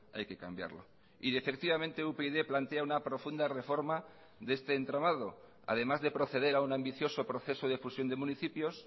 hay que cambiarlo y efectivamente upyd plantea una profunda reforma de este entramado además de proceder a un ambicioso proceso de fusión de municipios